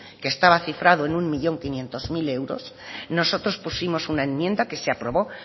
que estaba cifrado en un un millón quinientos mil euros nosotros pusimos una enmienda que se aprobó